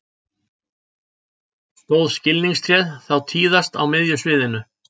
Stóð skilningstréð þá tíðast á miðju sviðinu.